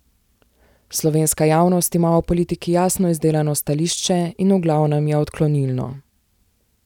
Slovenska javnost ima o politiki jasno izdelano stališče in v glavnem je odklonilno.